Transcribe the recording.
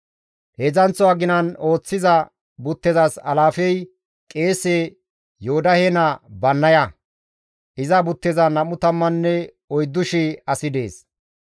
Heedzdzanththo aginan ooththiza buttezas alaafey qeese Yoodahe naa Bannaya; iza buttezan 24,000 asi dees.